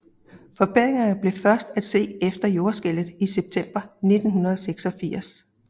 Forbedringer blev først at se efter jordskælvet i september 1986